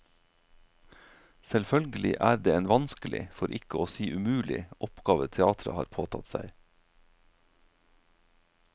Selvfølgelig er det en vanskelig, for ikke å si umulig, oppgave teatret har påtatt seg.